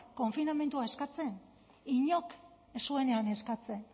konfinamendua eskatzen inork ez zuenean eskatzen